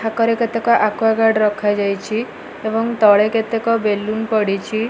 ଥାକରେ କେତେକ ଆକୁଆଗାର୍ଡ ରଖାଯାଇଛି ଏବଂ ତଳେ କେତେକ ବେଲୁନ୍ ପଡ଼ିଛି।